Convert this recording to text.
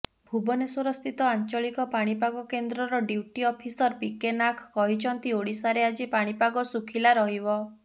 ଭୁବନେଶ୍ୱରସ୍ଥିତ ଆଞ୍ଚଳିକ ପାଣିପାଗ କେନ୍ଦ୍ରର ଡ୍ୟୁଟି ଅଫିସର ପିକେ ନାଖ କହିଛନ୍ତି ଓଡିଶାରେ ଆଜି ପାଣିପାଗ ଶୁଖିଲା ରହିବ